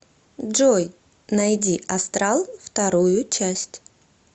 джой найди астрал вторую часть